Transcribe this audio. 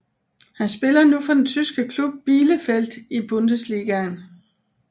Han spiller nu for den tyske klub Bielefeld i Bundesligaen